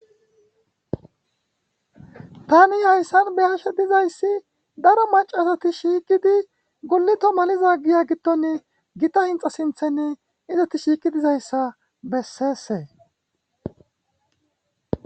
tani hayssan be'ashe dizayssi daro macasati shiiqidi gulito maliza giya gidone gita hinxa sinthenne izeti shiiqi dizayssa besseesee